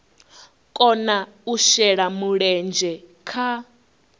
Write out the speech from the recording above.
kona u shela mulenzhe kha